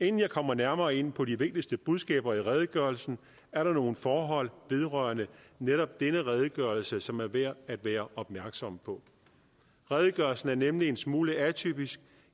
inden jeg kommer nærmere ind på de vigtigste budskaber i redegørelsen er der nogle forhold vedrørende netop denne redegørelse som er værd at være opmærksom på redegørelsen er nemlig en smule atypisk